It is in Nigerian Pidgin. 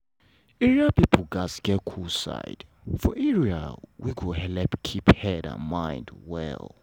area people gats get cool side for area wey go helep keep head and mind well.